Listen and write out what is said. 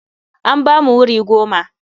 An ba mu wuri goma.